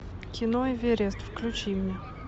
кино эверест включи мне